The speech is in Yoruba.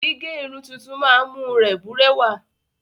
Gígẹ́ irun tuntun máa ń mú rẹ bùrẹ́wà.